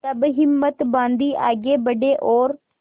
तब हिम्मत बॉँधी आगे बड़े और